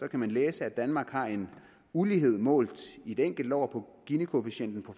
kan man læse at danmark har en ulighed målt i et enkelt år på ginikoefficienten på